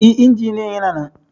E, injiniyan yana nan.